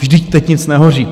Vždyť teď nic nehoří.